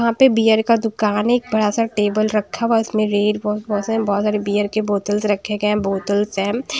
वहां पे बियर का दुकान है एक बड़ा सा टेबल रखा हुआ है उसमें रेल व बहुत सारे बियर के बोतल्स रखे गए हैं बोतल्स है।